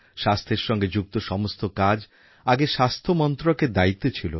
স্বাস্থ্যের সঙ্গে যুক্ত সমস্ত কাজ আগে স্বাস্থ্য মন্ত্রকের দায়িত্বে ছিল